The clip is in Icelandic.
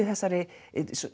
þessari